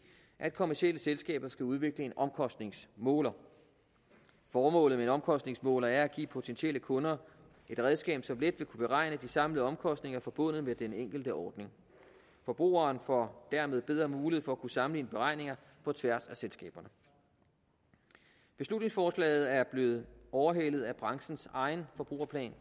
at kommercielle selskaber skal udvikle en omkostningsmåler formålet med en omkostningsmåler er at give potentielle kunder et redskab som let vil kunne beregne de samlede omkostninger forbundet med den enkelte ordning forbrugeren får dermed bedre mulighed for at kunne sammenligne beregninger på tværs af selskaberne beslutningsforslaget er blevet overhalet af branchens egen forbrugerplan